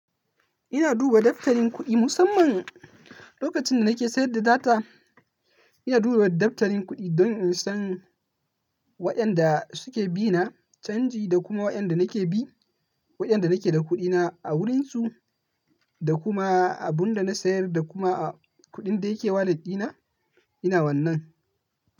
Ina duba daftarin kuɗi musamman lokacin da nake sayar da data. Ina duba daftarin kuɗi, don in san waƴanda suke bina canji, da kuma waƴanda nake bi, waƴanda nake da kuɗina a wurinsu, da kuma abin da na sayar, da kuma kuɗin da yake wallet dina, ina wannan.